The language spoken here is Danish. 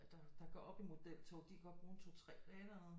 Der går op i modeltog de kan godt bruge en 2 3 dage dernede